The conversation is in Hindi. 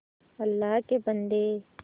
अल्लाह के बन्दे